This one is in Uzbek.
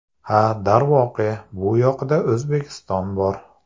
Ha, darvoqe, bu yoqda O‘zbekiston bor.